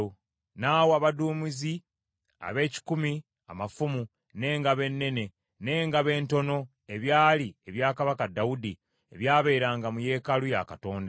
N’awa abaduumizi ab’ekikumi amafumu, n’engabo ennene, n’engabo entono, ebyali ebya Kabaka Dawudi, ebyabeeranga mu yeekaalu ya Katonda.